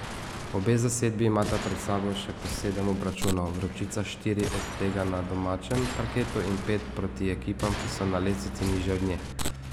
Obe zasedbi imata pred sabo še po sedem obračunov, Vročica štiri od tega na domačem parketu in pet proti ekipam, ki so na lestvici nižje od nje.